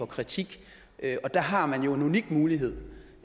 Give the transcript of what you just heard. kritik og der har man jo en unik mulighed